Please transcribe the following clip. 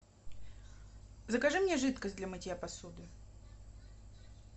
закажи мне жидкость для мытья посуды